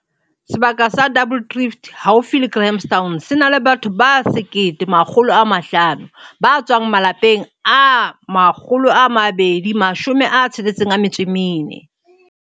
Sebaka sa Double Drift haufi le Grahamstown se na le batho ba 1 500 ba tswang malapeng a 264.